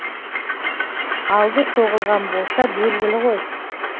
алды соғылған болса белгілі ғой